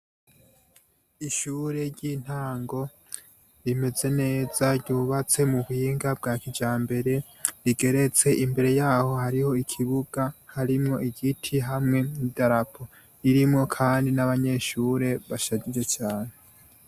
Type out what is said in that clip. Ishure ry'intango rimeze neza ryubatse mu buhinga bwa kijambere rigeretse, imbere yaho harijo ikibuga harimwo igiti hamwe n'idarapo. Ririmwo kandi n'abanyeshure bashajije cane.